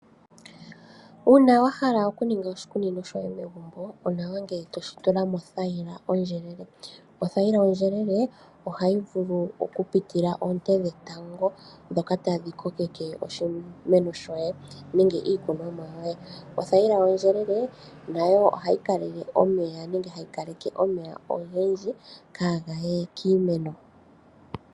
Uuna wa hala okuninga oshikunino shoye megumbo, onawa ngele toshi tula mothaila ondjelele. Othaila ondjelele ohayi vulu oku pitila oonte dhetango ndhoka tadhi kokeke oshimeno shoye nenge iikunomwa yoye . Othaila ondjelele nayo ohayi kaleke omeya nenge hayi keelele omeya ogendji kaa gaye kiimeno.